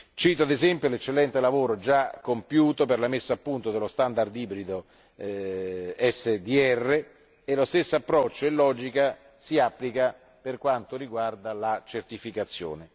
Cito, ad esempio, l'eccellente lavoro già compiuto per la messa a punto dello standard ibrido SDR e lo stesso approccio e logica si applicano per quanto riguarda la certificazione.